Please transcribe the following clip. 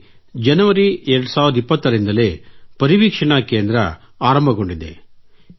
ಅಲ್ಲಿ ಜನವರಿ 2020 ರಿಂದಲೇ ಪರಿವೀಕ್ಷಣಾ ಕೇಂದ್ರ ಆರಂಭಗೊಂಡಿದೆ